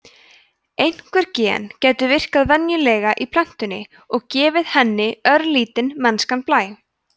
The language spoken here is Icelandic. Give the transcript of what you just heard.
einhver gen gætu virkað venjulega í plöntunni og gefið henni örlítinn mennskan blæ